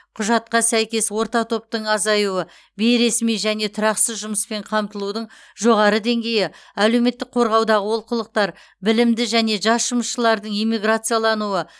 құжатқа сәйкес орта топтың азайуы бейресми және тұрақсыз жұмыспен қамтылудың жоғары деңгейі әлеуметтік қорғаудағы олқылықтар білімді және жас жұмысшылардың эмиграциялануы